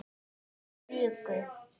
París í viku?